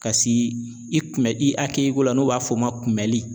Ka si i kunbɛ i ko la n'o b'a fɔ o ma ko kunbɛli.